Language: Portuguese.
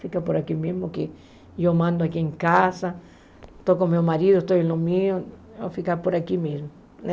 Fica por aqui mesmo, que eu mando aqui em casa, estou com meu marido, estou em meu, vou ficar por aqui mesmo, né?